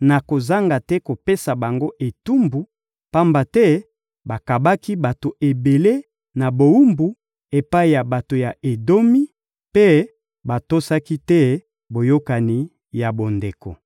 nakozanga te kopesa bango etumbu, pamba te bakabaki bato ebele na bowumbu epai ya bato ya Edomi mpe batosaki te boyokani ya bondeko.